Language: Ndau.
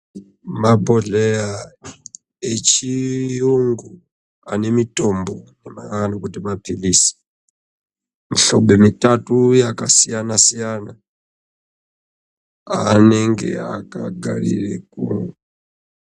Mabhohlera echirungu ane mitombo anowanikwa mapirizi mihlobo mitatu yakasiyana siyana anenge akagara aripo.